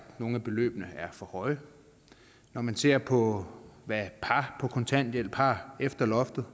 nogle af beløbene er for høje når man ser på hvad par på kontanthjælp har efter loftet